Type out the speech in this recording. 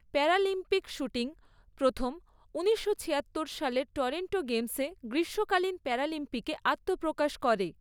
Paralympic shooting প্রথম ঊনিশশো ছিয়াত্তর সালের টরন্টো গেমসে গ্রীষ্মকালীন প্যারালিম্পিকে আত্মপ্রকাশ করে।